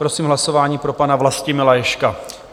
Prosím o hlasování pro pana Vlastimila Ježka.